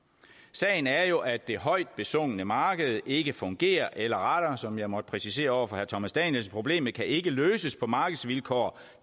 sagen er jo at det højt besungne marked ikke fungerer eller rettere som jeg måtte præcisere over for herre thomas danielsen at problemet ikke kan løses på markedsvilkår